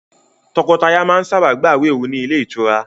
Tọkọtaya máa sábà gbawe òru ni Ile itura